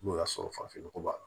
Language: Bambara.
N'o y'a sɔrɔ farafin nɔgɔ b'a la